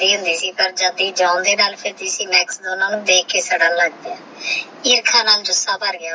ਜਾਂਦੀ ਹੋਂਦੀ ਸੇ ਤਹ ਜਾਨ ਦੇ ਨਾਲ ਭਾਜੀ ਸੀ ਇਹ ਓਹ ਦੇਖ ਕੇ ਸਦਨ ਲਾਗ ਪਾਯਾ ਆਖਣਾ ਨਾਲ ਗੁੱਸਾ ਭਰ ਗਯਾ ਓਹਦਾ